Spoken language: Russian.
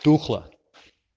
тухло